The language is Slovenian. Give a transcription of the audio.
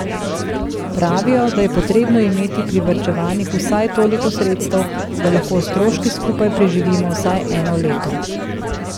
Pravijo, da je potrebno imeti privarčevanih vsaj toliko sredstev, da lahko s stroški skupaj preživimo vsaj eno leto.